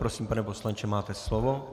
Prosím, pane poslanče, máte slovo.